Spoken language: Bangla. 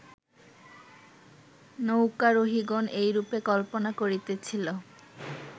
নৌকারোহিগণ এইরূপে কল্পনা করিতেছিল